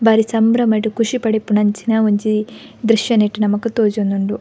ಬಾರಿ ಸಂಭ್ರಮಡ್ ಖುಷಿ ಪಡುಪುನಂಚಿನ ಒಂಜಿ ದ್ರಶ್ಯ ನೆಟ್ಟ್ ನಮಕ್ ತೋಜೊಂದುಂಡು.